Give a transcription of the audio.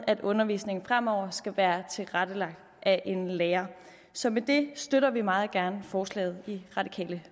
at undervisningen fremover skal være tilrettelagt af en lærer så med det støtter vi meget gerne forslaget i det radikale